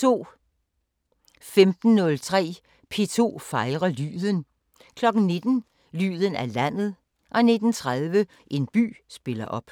15:03: P2 fejrer lyden 19:00: Lyden af landet 19:30: En by spiller op